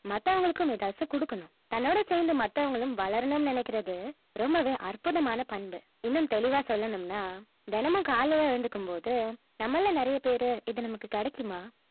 மத்தவங்களுக்கும் ஏதாச்சும் குடுக்கணும் தன்னோடு சேர்ந்து மத்தவங்களும் வளரனும்னு நினைக்கிறது ரொம்பவே அற்புதமான பண்பு இன்னும் தெளிவா சொல்லனும்னா தினமும் காலையில எழுந்திருக்கும் போது நம்மள்ல நிறைய பேரு இது நமக்கு கிடைக்குமா